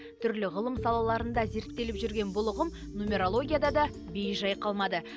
түрлі ғылым салаларында зерттеліп жүрген бұл ұғым нумерологияда да бей жай қалмады